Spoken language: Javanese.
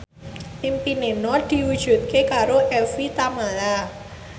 impine Nur diwujudke karo Evie Tamala